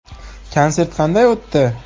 Konsert qanday o‘tdi?